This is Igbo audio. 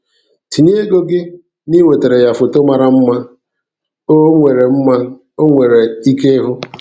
Tinye ego gị n'iwetara ya foto mara mma o nwere mma o nwere ike ịhụ.